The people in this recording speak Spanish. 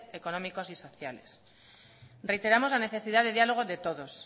económicos y sociales reiteramos la necesidad de diálogo de todos